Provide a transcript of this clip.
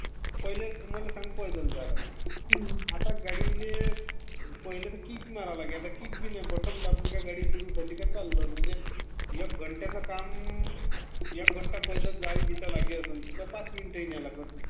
पहिले....मला सांग पहिलं पैदल जायला लगे, आता गाडीले पहिले आधी कीक मारायला लागायची, आता बटन दाबले की गाडी सुरू झाली चाललो ..म्हणजे पहिले पैदल घंट्याचं काम घंटा लागे तिथे पाच मिनिटही नाही लागतं...